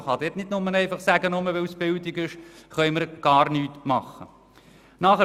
Man kann nicht sagen, man könne gar nichts tun, nur weil es sich um Bildung handelt.